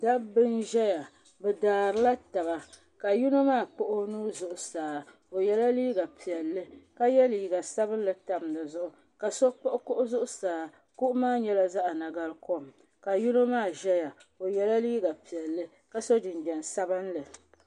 Dabba n ʒɛya bɛ daarila taba ka yino maa kpuɣi o nuu zuɣusaa o yela liiga piɛlli ka ye liiga sabinli tam di zuɣu ka so kpiɣi kuɣu zuɣusaa kuɣu maa nyɛla zaɣa nagarikom ka yino maa ʒɛya o yela liiga piɛlli ka so jinjiɛm sabinli.